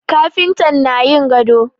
Kafintan na yin gado